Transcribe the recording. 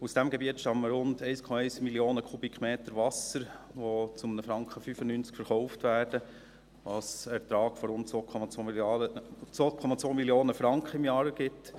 Aus diesem Gebiet stammen rund 1,1 Mio. Kubikmeter Wasser, die zu 1,95 Franken verkauft werden, was einen Ertrag von rund 2,2 Mio. Franken im Jahr ergibt.